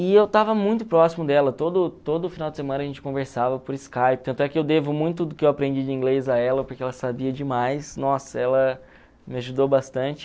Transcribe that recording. E eu estava muito próximo dela, todo todo final de semana a gente conversava por Skype, tanto é que eu devo muito do que eu aprendi de inglês a ela, porque ela sabia demais, nossa, ela me ajudou bastante.